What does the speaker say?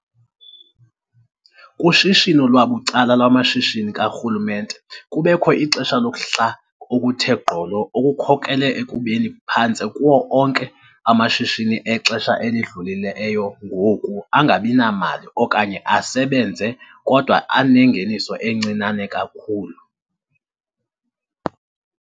kushishino lwabucala lwamashishini karhulumente kubekho ixesha lokuhla okuthe gqolo okukhokelele ekubeni phantse kuwo onke amashishini exesha elidlulileyo ngoku angabinamali okanye asebenze kodwa anengeniso encinane kakhulu.